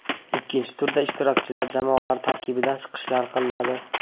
Ikkinchi turda ishtirokchilar jamoalar tarkibida chiqishlar qiladi.